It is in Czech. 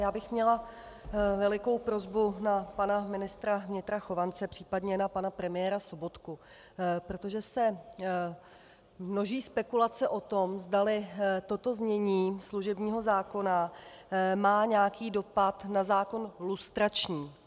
Já bych měla velikou prosbu na pana ministra vnitra Chovance případně na pana premiéra Sobotku, protože se množí spekulace o tom, zdali toto znění služebního zákona má nějaký dopad na zákon lustrační.